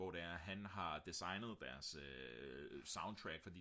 hvor det er han har designet deres soundtrack